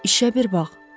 İşə bir bax!